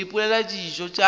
go ipopela dijo tša tšona